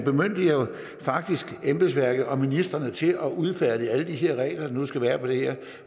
faktisk embedsværket og ministrene til at udfærdige alle de her regler der nu skal være på det her